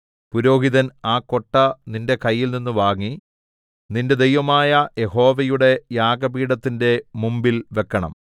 പുരോഹിതൻ ആ കൊട്ട നിന്റെ കയ്യിൽനിന്ന് വാങ്ങി നിന്റെ ദൈവമായ യഹോവയുടെ യാഗപീഠത്തിന്റെ മുമ്പിൽ വെക്കണം